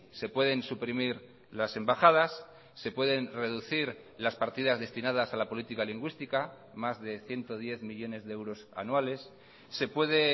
se pueden suprimir las embajadas se pueden reducir las partidas destinadas a la política lingüística más de ciento diez millónes de euros anuales se puede